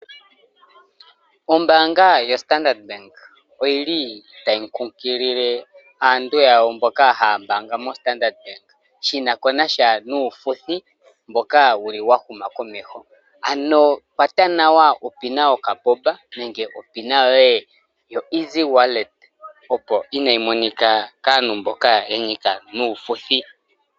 Ombaanga yo Standard bank oyili tayi kunkilile aantu yawo mboka haya mbaanga mo Standard shinasha nuufuthi mboka wuli wa huma komeho. Ano kwata nawa o pin yoka boba nenge o pin yoye yo easy wallet opo kayi monike kaantu mboka haya longo nuufuthi.